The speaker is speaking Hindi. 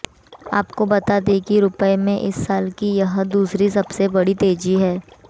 आपको बता दें कि रुपए में इस साल की यह दूसरी सबसे बड़ी तेजी रही